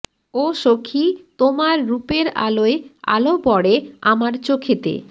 ও সখী তোমার রূপের আলোয় আলো পড়ে আমার চোখেতে